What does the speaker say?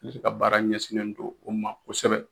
Dese ka baara ɲɛsinnen don o ma kosɛbɛ